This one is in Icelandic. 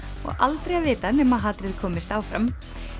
og aldrei að vita nema hatrið komist áfram